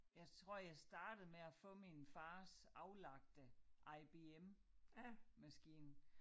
Jeg tror jeg startede med at få min fars aflagte IBM maskine